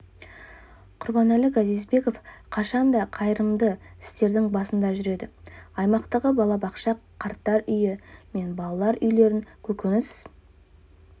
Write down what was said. құрбанәлі газизбеков қашан да қайырымды істердің басында жүреді аймақтағы балабақша қарттар үйі мен балалар үйлерін көкөніс